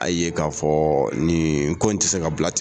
A y'a ye k'a fɔ nin ko in ti se ka bila ten